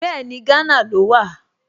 Bẹ́ẹ̀ni, Gánà ló wà